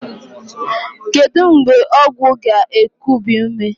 Kedu mgbe ọgwụ ga-ekubi ume?